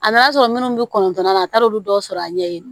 A nana sɔrɔ minnu bɛ kɔntɔn na a t'olu dɔw sɔrɔ a ɲɛ ye